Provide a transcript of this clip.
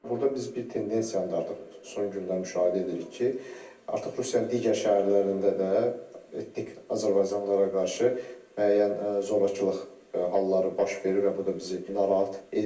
Burda biz bir tendensiyanı da artıq son günlər müşahidə edirik ki, artıq Rusiyanın digər şəhərlərində də etnik azərbaycanlılara qarşı müəyyən zorakılıq halları baş verir və bu da bizi narahat edir.